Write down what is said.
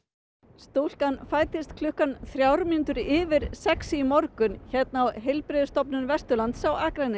stúlkan fæddist klukkan þrjár mínútur yfir sex í morgun hérna á Heilbrigðisstofnun Vesturlands á Akranesi